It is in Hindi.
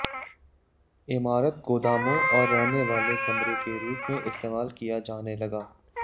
इमारत गोदामों और रहने वाले कमरे के रूप में इस्तेमाल किया जाने लगा